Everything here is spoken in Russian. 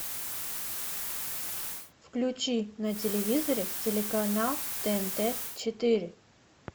включи на телевизоре телеканал тнт четыре